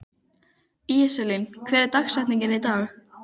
Íselín, hver er dagsetningin í dag?